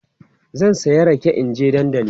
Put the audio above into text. zan saya rake in na je dandali